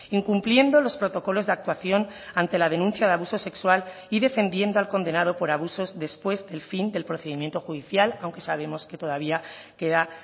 incumpliendo los protocolos de actuación ante la denuncia de abuso sexual y defendiendo al condenado por abusos después del fin del procedimiento judicial aunque sabemos que todavía queda